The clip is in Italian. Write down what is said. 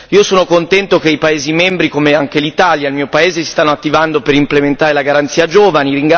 Io sono contento che i paesi membri, come anche l'Italia il mio paese si stiano attivando per implementare la garanzia giovani.